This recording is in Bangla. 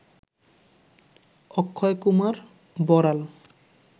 অক্ষয়কুমার বড়াল